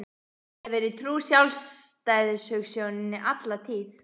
Ég hef verið trúr sjálfstæðishugsjóninni alla tíð.